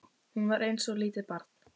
Hún var eins og lítið barn.